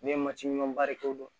Ne ye mati ɲɔriko dɔn